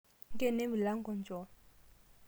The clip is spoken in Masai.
ngeno emilango echoo.